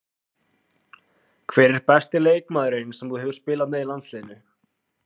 Hver er besti leikmaðurinn sem þú hefur spilað með í landsliðinu?